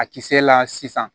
A kisɛ la sisan